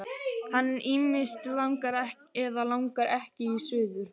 Hann ýmist langar eða langar ekki suður.